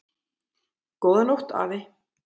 Góða nótt afi.